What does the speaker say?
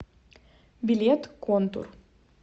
билет контур